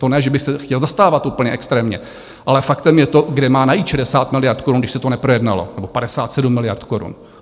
To ne, že bych se chtěl zastávat úplně extrémně, ale faktem je to, kde má najít 60 miliard korun, když se to neprojednalo, nebo 57 miliard korun?